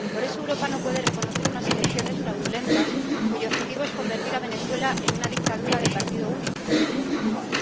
Por eso, Europa no puede reconocer unas elecciones fraudulentas cuyo objetivo es convertir a Venezuela en una dictadura de partido único, como en Cuba.